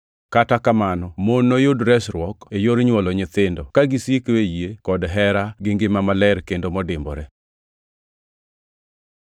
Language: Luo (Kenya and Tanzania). Kata kamano mon noyud resruok e yor nywolo nyithindo, ka gisiko e yie kod hera gi ngima maler kendo modimbore.